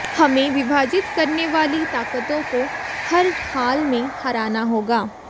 हमें विभाजित करने वाली ताकतों को हर हाल में हराना होगा